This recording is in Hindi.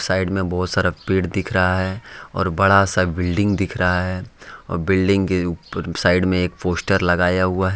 साइड में बहुत सारा पेड़ दिख रहा है और बड़ा सा बिल्डिंग दिख रहा है और बिल्डिंग के ऊप साइड में एक पोस्टर लगाया हुआ है।